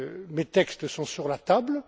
Mes textes sont sur la table.